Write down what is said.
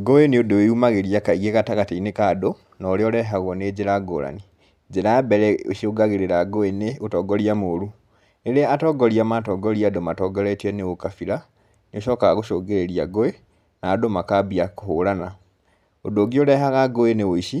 Ngũĩ nĩ ũndũ wĩyumagĩria kaingĩ gatagatĩ-inĩ ka andũ, na ũrĩa ũrehagwo nĩ njĩra ngũrani. Njĩra ya mbere ĩcũngagĩrĩra ngũĩ nĩ ũtongoria moru. Rĩrĩa atongoria matongoria andũ matongoretio nĩ ũkabira, nĩũcokaga gũcungĩrĩria ngũĩ, na andũ makambia kũhũrana. ũndũ ũngĩ ũrehaga ngũĩ nĩ ũici,